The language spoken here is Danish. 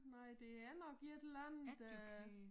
Nej det er nok et eller andet øh